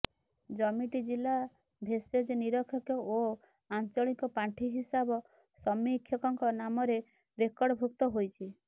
ଜମିଟି ଜିଲ୍ଲା ଭେଷଜ ନିରୀକ୍ଷକ ଓ ଆଞ୍ଚଳିକ ପାଣ୍ଠି ହିସାବ ସମୀକ୍ଷକଙ୍କ ନାମରେ ରେକର୍ଡଭୁକ୍ତ ହୋଇଛି